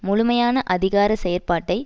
முழுமையான அதிகார செயற்பாட்டை